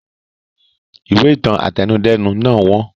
Ìwé ìtàn àtẹnudẹ́nu náà wọ́n